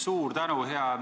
Suur tänu!